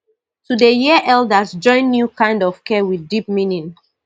to dey hear elders join new kind of care with deep meaning